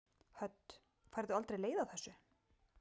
Hödd: Færðu aldrei leið á þessu?